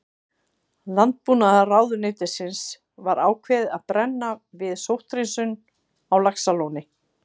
Landbúnaðarráðuneytisins var ákveðið að brenna við sótthreinsun á Laxalóni.